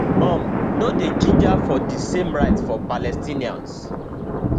um no dey ginger for di same rights for palestinians